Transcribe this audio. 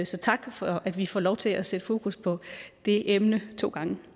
så tak for at vi får lov til at sætte fokus på det emne to gange